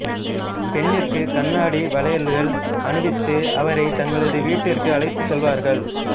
பெண்ணிற்கு கண்ணாடி வளையல்கள் அனுவித்து அவரை தங்களது வீட்டிற்க்கு அழைத்து செல்வார்கள்